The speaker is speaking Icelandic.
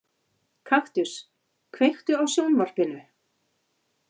Kaktus, kveiktu á sjónvarpinu.